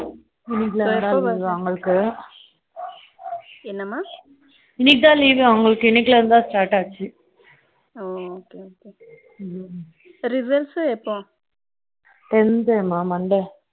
இன்னைக்கு லா இருந்துதா leave அவங்களுக்கு என்னா மா இன்னைக்கு தா leave அவங்களுக்கு இன்னைக்கு லா இருந்துதா start leave ஆச்சு அவங்களுக்கு results எப்போ tenth மா monday